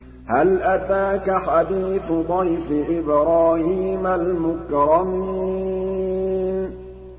هَلْ أَتَاكَ حَدِيثُ ضَيْفِ إِبْرَاهِيمَ الْمُكْرَمِينَ